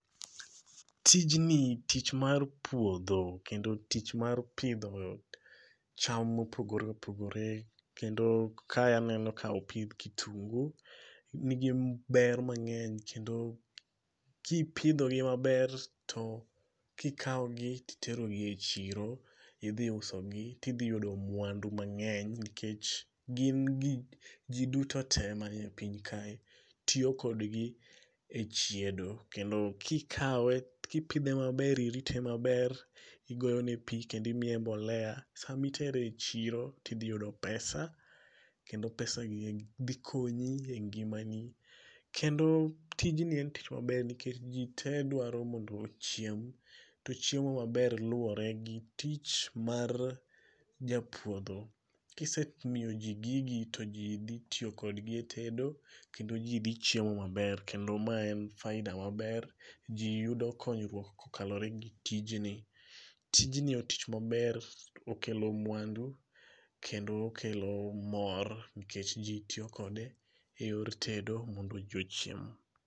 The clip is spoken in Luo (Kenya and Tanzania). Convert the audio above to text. Tijni tich mar puodho kendo tich mar pidho cham mopogore opogore kendo kae aneno ka opidh kitungu nigi ber mang'eny kendo kipidhogi maber to kikawogi titerogi e chiro idhi usogi tidhiyudo mwandu mang'eny nikech gin ji duto te ma e piny kae tiyo kodgi e chiedo kendo kipidhe maber irite maber igoyone pi kendo imiye mbolea, sama itere e chiro tidhiyudo pesa kendo pesagiegi dhi konyi e ngimani. Kendo tijni en tich maber nikech ji te dwaro ni mondo ochiem to chiemo maber luwore gi tich mar japuodho. Kisemiyoji gigi to ji dhi tiyokodgi e tedo kendo ji dhi chiemo maber kendo ma en faida maber ji yudo konyruok kokalore gi tijni. Tijni e tich maber okelo mwandu kendo okelo mor nkech ji tiyo kode e yor tedo mondo ji ochiem.